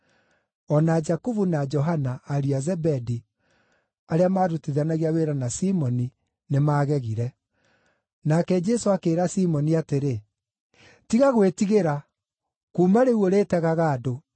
o na Jakubu na Johana, ariũ a Zebedi, arĩa maarutithanagia wĩra na Simoni nĩmagegire. Nake Jesũ akĩĩra Simoni atĩrĩ, “Tiga gwĩtigĩra; kuuma rĩu ũrĩtegaga andũ.”